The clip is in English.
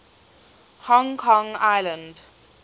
hong kong island